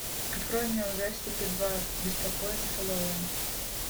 открой мне ужастики два беспокойный хэллоуин